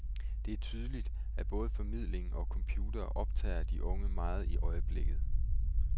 Det er tydeligt, at både formidling og computere optager de unge meget i øjeblikket.